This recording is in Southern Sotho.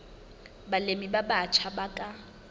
balemi ba batjha ba ka